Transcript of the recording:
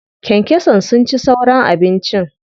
Kyankyasan sun ci sauran abincin.